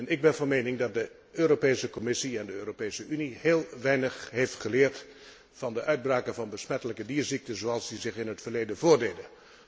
Ik ben van mening dat de Commissie en de Europese Unie heel weinig hebben geleerd van de uitbraken van besmettelijke dierziekten, zoals die zich in het verleden voordeden.